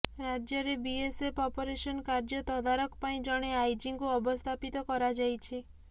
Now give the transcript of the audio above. ରାଜ୍ୟରେ BSF operation କାର୍ଯ୍ୟ ତଦାରଖ ପାଇଁ ଜଣେ ଆଇଜିଙ୍କୁ ଅବସ୍ଥାପିତ କରାଯାଇଛି